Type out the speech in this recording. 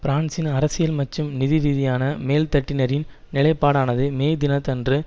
பிரான்சின் அரசியல் மற்றும் நிதிரீதியான மேல்தட்டினரின் நிலைப்பாடானது மே தினத்தன்று